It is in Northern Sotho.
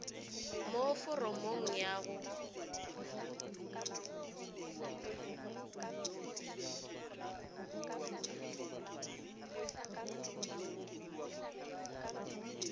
mo foromong ye ya go